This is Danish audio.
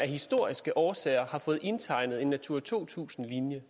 historiske årsager har fået indtegnet en natura to tusind linje